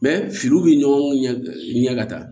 Mɛ filiw bɛ ɲɔgɔn ɲɛ ka taa